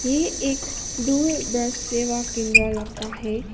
ये एक दूरदर्श सेवा केंद्र लगता है।